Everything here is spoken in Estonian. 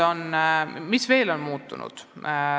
Mis veel on muutunud?